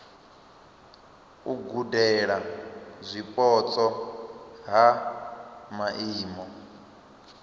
u gudela zwipotso ha maimo